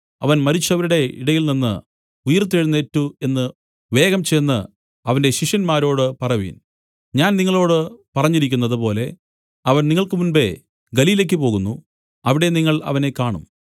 അവൻ മരിച്ചവരുടെ ഇടയിൽനിന്ന് ഉയിർത്തെഴുന്നേറ്റു എന്നു വേഗം ചെന്ന് അവന്റെ ശിഷ്യന്മാരോട് പറവിൻ ഞാൻ നിങ്ങളോടു പറഞ്ഞിരിക്കുന്നത് പോലെ അവൻ നിങ്ങൾക്ക് മുമ്പെ ഗലീലയ്ക്കു് പോകുന്നു അവിടെ നിങ്ങൾ അവനെ കാണും